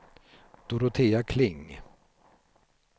Dorotea Kling